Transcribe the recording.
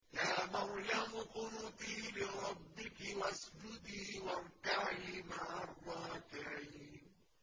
يَا مَرْيَمُ اقْنُتِي لِرَبِّكِ وَاسْجُدِي وَارْكَعِي مَعَ الرَّاكِعِينَ